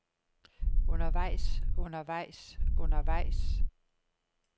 undervejs undervejs undervejs